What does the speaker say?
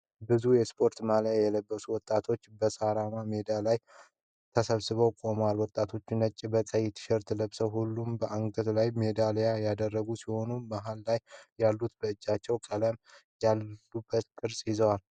ብዙ የስፖርት ማልያ የለበሱ ወጣቶች በሳራማ ሜዳ ላይ ተሰብስበው ቆመዋል። ወጣቶቹ ነጭ በቀይ ቲሸርት ለብሰዋል። ሁሉም በአንገታቸው ላይ ሜዳልያን ያደረጉ ሲሆን መሃል ላይ ያሉት በእጃቸው ቀለማት ያሉበት ቅርጽን ይዘዋል።